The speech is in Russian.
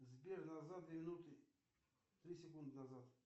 сбер назад две минуты три секунды назад